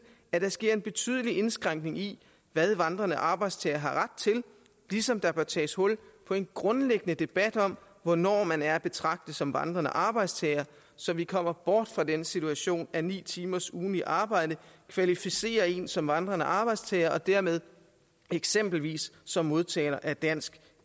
at der sker en betydelig indskrænkning i hvad vandrende arbejdstagere har ret til ligesom der bør tages hul på en grundlæggende debat om hvornår man er at betragte som vandrende arbejdstager så vi kommer bort fra den situation at ni timers ugentligt arbejde kvalificerer en som vandrende arbejdstager og dermed eksempelvis som modtager af dansk